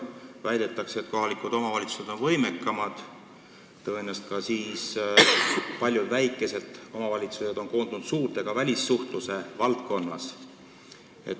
Väidetakse, et kohalikud omavalitsused on nüüd võimekamad, paljud väikesed omavalitsused on ühte koondunud, ja seda ka välissuhtluse valdkonnas.